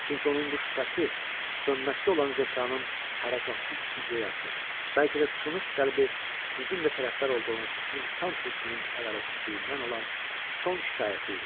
Çünki onun bu şübhəsi sönməkdə olan zəkanın hərəkətsiz ideyası, bəlkə də sınıq qəlbi sizin də tərəfdar olduğunuz insan hökmünün ədalətsizliyindən olan son şikayəti idi.